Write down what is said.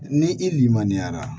Ni i limaniya la